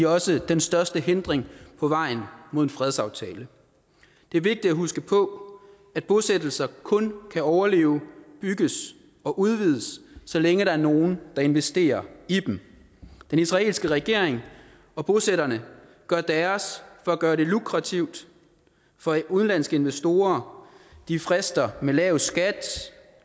også den største hindring på vejen mod en fredsaftale det er vigtigt at huske på at bosættelser kun kan overleve bygges og udvides så længe der er nogen der investerer i dem den israelske regering og bosætterne gør deres for at gøre det lukrativt for udenlandske investorer de frister med lav skat